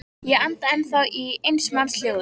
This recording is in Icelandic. Ég anda ennþá í eins manns hljóði.